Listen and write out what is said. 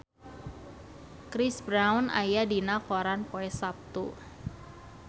Chris Brown aya dina koran poe Saptu